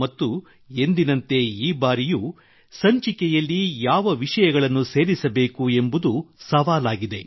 ಮತ್ತು ಎಂದಿನಂತೆ ಈ ಬಾರಿಯೂ ಸಹ ಸಂಚಿಕೆಯಲ್ಲಿ ಯಾವ ವಿಷಯಗಳನ್ನು ಸೇರಿಸಬೇಕು ಎಂಬುದು ಸವಾಲಾಗಿದೆ